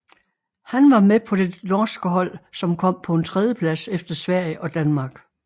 Han var med på det norske hold som kom på en tredjeplads efter Sverige og Danmark